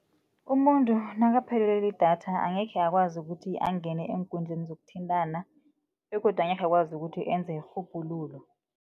Umuntu nakaphelelwe lidatha angekhe akwazi ukuthi angene eenkundleni zokuthintana begodu angekhe akwazi ukuthi enze irhubhululo.